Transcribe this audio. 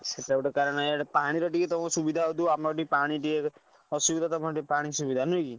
ସେତା ଗୋଟେ କାରଣ। ଇଆଡେ ପାଣିର ଟିକିଏ ସୁବିଧା ହୋଉଥିବ ଆମର ପାଣି ର ଟିକେ ଅସୁବିଧା ଖଣ୍ଡେ ସୁବିଧା ନୁହେଁ କି।